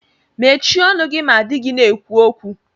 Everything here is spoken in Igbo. Mechie ọnụ gị ma dị gị na-ekwu okwu